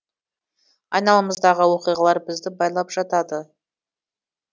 айналамыздағы оқиғалар бізді байлап жатады